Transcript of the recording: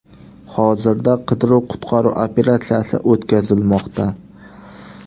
Hozirda qidiruv-qutqaruv operatsiyasi o‘tkazilmoqda.